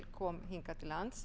kom hingað til lands